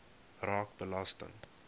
raak belasting